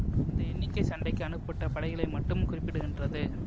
இந்த எண்ணிக்கை சண்டைக்கு அனுப்பப்பட்ட படைகளை மட்டும் குறிப்பிடுகின்றது